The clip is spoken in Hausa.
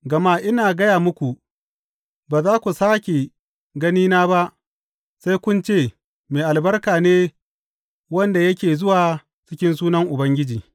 Gama ina gaya muku, ba za ku sāke ganina ba sai kun ce, Mai albarka ne wanda yake zuwa cikin sunan Ubangiji.